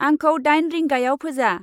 आंखौ दाइन रिंगायाव फोजा।